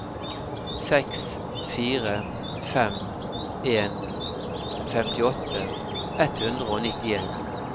seks fire fem en femtiåtte ett hundre og nittien